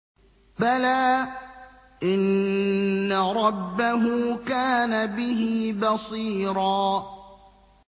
بَلَىٰ إِنَّ رَبَّهُ كَانَ بِهِ بَصِيرًا